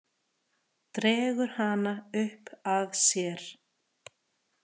Dregur hana upp að sér.